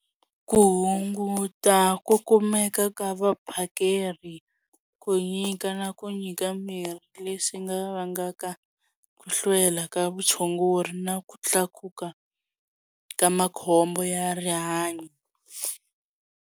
Ku hunguta ku kumeka ka vaphakeri ku nyika na ku nyika mirhi leswi nga vangaka ku hlwela ka vutshunguri na ku tlakuka ka makhombo ya rihanyo.